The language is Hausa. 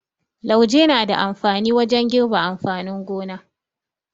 Lauje na da amfani wajen girbi amfanin gona.